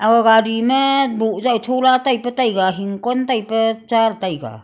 kao gari ma boh jao chola taipe taiga hingkon taipe cha le taga.